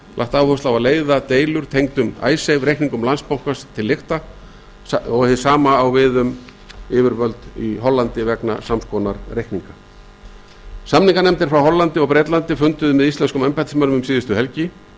lagt áherslu á að leiða deilur tengdum icesave reikningum landsbankans til lykta hið sama á við um icesave reikningana í hollandi samninganefndir frá hollandi og bretlandi funduðu með íslenskum embættismönnum um síðustu helgi